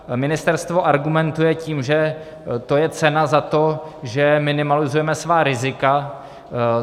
Ministerstvo argumentuje tím, že to je cena za to, že minimalizujeme svá rizika.